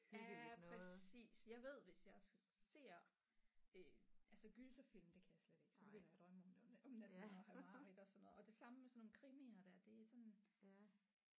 Ja præcis jeg ved hvis jeg ser øh altså gyserfilm det kan jeg slet ikke så begynder jeg at drømme om det om om natten og have mareridt og sådan noget og det samme med sådan nogle krimier der det er sådan